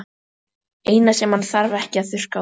Eina sem hann þarf ekki að þurrka út.